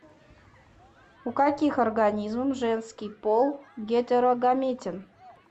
у каких организмов женский пол гетерогаметен